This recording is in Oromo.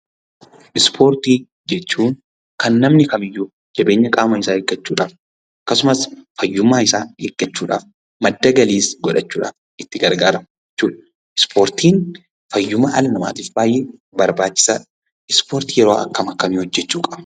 Ispoortii jechuun kan namni kamiyyuu jabina qaama isaa eeggachuuf akkasumas fayyummaa isaa eeggachuudhaaf, madda galii godhachuufdhaaf itti gargaaramu jechuudha. Ispoortiin fayyuma dhala namaatiif baay'ee barbaachisaadha. Ispoortii yeroo akkam akkamii hojjechuu qabna?